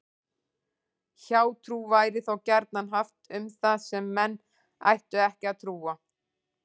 Hjátrú væri þá gjarnan haft um það sem menn ættu ekki að trúa.